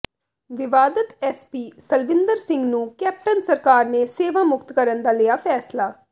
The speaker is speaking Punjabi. ਵਿਵਾਦਤ ਐਸਪੀ ਸਲਵਿੰਦਰ ਸਿੰਘ ਨੂੰ ਕੈਪਟਨ ਸਰਕਾਰ ਨੇ ਸੇਵਾ ਮੁਕਤ ਕਰਨ ਦਾ ਲਿਆ ਫੈਸਲਾ